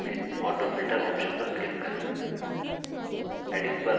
popअप menu में autofilter option पर click करें